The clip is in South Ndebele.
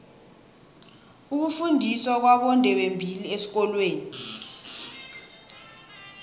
ukufundiswa kwabondebembili esikolweni